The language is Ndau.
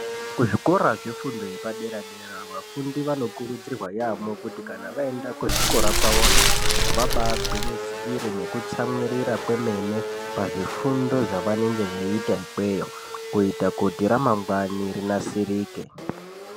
Kuzvikora zvefundo yepadera dera vafundi vanokuridzirwa yaamho kuti kana vaenda kuzvikora kwavoyo vabaagwinyisire nekutsamwirira kwemene pazvifundo zvavanenge veiita ikweyo kuti ramangwani rinasirike.